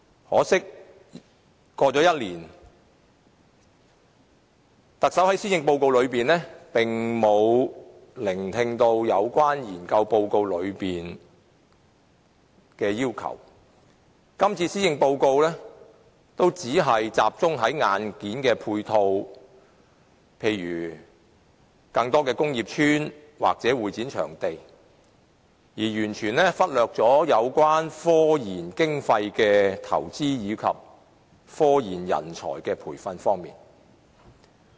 可惜，一年過去了，特首並沒有聽取該研究報告內所提出的要求，而今年的施政報告亦只集中處理硬件配套問題，例如建造更多工業邨或會展場地，完全忽略了科研經費的投資及科研人才的培訓。